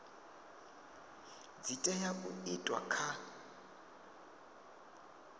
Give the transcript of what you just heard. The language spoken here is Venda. dzi tea u itwa kha